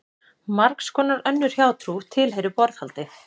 Margs konar önnur hjátrú tilheyrir borðhaldi.